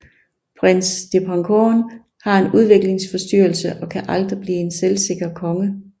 Prins Dipangkorn har en udviklingsforstyrrelse og kan aldrig blive en selvsikker konge